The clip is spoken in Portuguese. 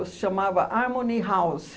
Se chamava Harmony House.